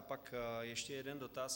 A pak ještě jeden dotaz.